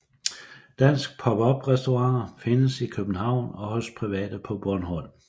Danske pop up restauranter findes i København og hos private på Bornholm